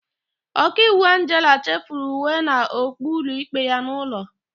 Ọkaiwu Angela chefuru uwe na okpu ụlọikpe ya n'ụlọ.